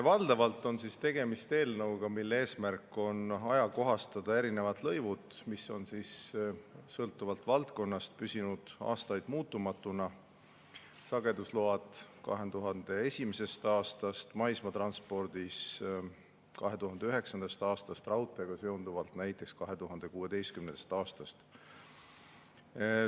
Valdavalt on tegemist eelnõuga, mille eesmärk on ajakohastada lõive, mis on sõltuvalt valdkonnast püsinud aastaid muutumatuna – sagedusload 2001. aastast, maismaatranspordiga seonduvad 2009. aastast ja raudteega seonduvad 2016. aastast.